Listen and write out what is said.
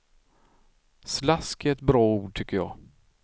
Slask är ett bra ord tycker jag.